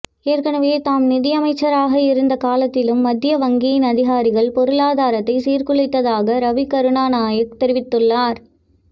ஏற்கனவே தாம் நிதியமைச்சராக இருந்த காலத்திலும் மத்திய வங்கியின் அதிகாரிகள் பொருளாதாரத்தை சீர்குழைத்ததாக ரவி கருணாநாயக்க தெரிவித்துள்ளார்